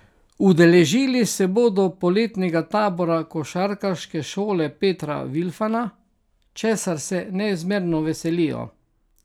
Udeležili se bodo poletnega tabora Košarkarske šole Petra Vilfana, česar se neizmerno veselijo.